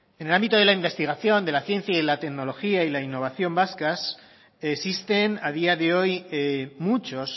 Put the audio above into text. en el ámbito de la investigación de la ciencia y de la tecnología y la innovación vascas existen a día de hoy muchos